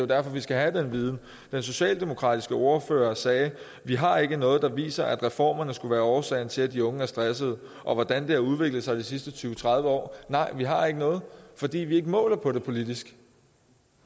derfor vi skal have den viden den socialdemokratiske ordfører sagde vi har ikke noget der viser at reformerne skulle være årsagen til at de unge er stressede og hvordan det har udviklet sig de sidste tyve tredive år nej vi har ikke noget fordi vi ikke måler på det politisk